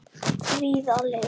Fríða Liv.